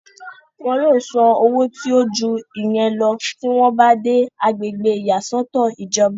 wọn yóò san owó tí ó ju ìyẹn lọ tí wọ́n bá dé agbègbè ìyàsọ́tọ̀ ìjọba